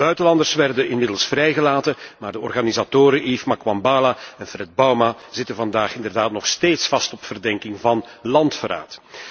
De buitenlanders werden inmiddels vrijgelaten, maar de organisatoren Yves Makwambala en Fred Bauma zitten vandaag nog steeds vast op verdenking van landverraad.